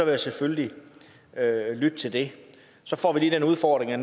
jeg selvfølgelig lytte til det så får vi lige den udfordring at